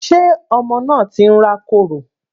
Sé ọmọ náà ti ń rá kòrò?